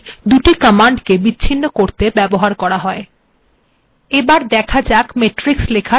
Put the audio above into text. ampersend বা and চিহ্নটি দুটি কম্যান্ডকে বিচ্ছিন্ন করতে ব্যবহৃত হয়